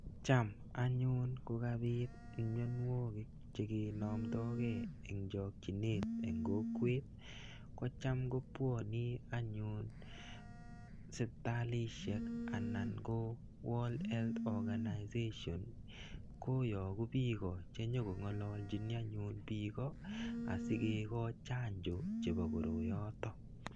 Cham anyun kokabit mionwogik che kenomdokei eng chokchinet eng kokwet, ko cham kobwoni anyun sipitalisiek anan ko World Health Organization koyoku piiko che nyokongalalchini anyun piiko asikikoch chanjo chebo koroyoto.